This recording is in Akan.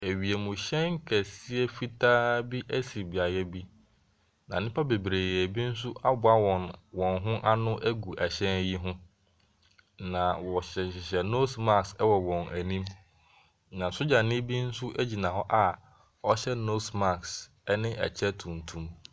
Wiemhyɛn kɛseɛ fitaa bi si beaɛ bi. Na nnipa bebree nso aboa wɔn ho ano agu ɛhyɛn yi ho. Na wɔhyehyɛhyehɛ nose mask wɔ wɔn anim. Na soldieni bi nso gyina hɔ a ɔhyɛ nose mask ne kyɛ tuntum.